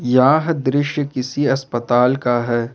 यह दृश्य किसी अस्पताल का है।